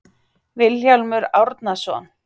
vilhjálmur árnason